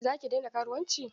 Za ki daina karuwanci?